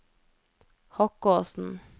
Hokkåsen